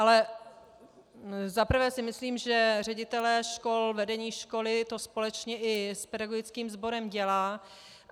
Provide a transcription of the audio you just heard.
Za prvé si myslím, že ředitelé škol, vedení školy to společně i s pedagogickým sborem dělá.